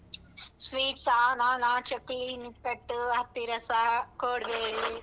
Sweets ಆ ನಾನಾ ಚಕ್ಲಿ, ನಿಪ್ಪಟ್ಟು, ಅತ್ತಿರಸ, ಕೊಡ್ಬೇಳೆ.